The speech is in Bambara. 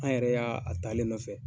An yɛrɛ y'a a ta ale nɔfɛ